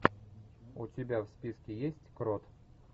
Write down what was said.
у тебя в списке есть крот